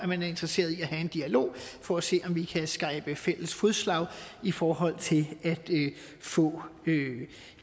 man er interesseret i at have en dialog for at se om vi kan skabe fælles fodslag i forhold til at få